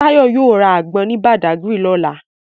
Tayo yóò ra àgbọn ní Badagry lọ́la